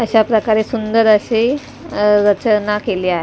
अशा प्रकारे सुंदर अशे अ रचना केले आ--